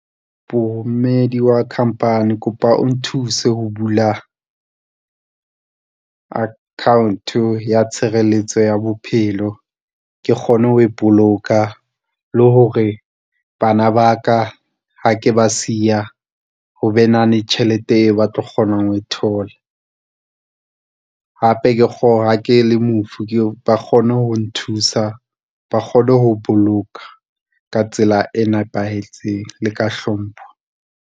Boemedi wa khampani, kopa o nthuse ho bula account-o ya tshireletso ya bophelo. Ke kgone ho ipoloka le hore bana ba ka ha ke ba siya ho be nahane tjhelete eo ba tlo kgonang ho e thola, ha ke le mofu ba kgone ho nthusa ba kgone ho boloka ka tsela e nepahetseng le ka hlompho.